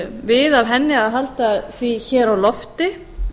við af henni að halda því hér á lofti